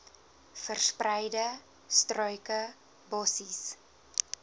verspreide struike bossies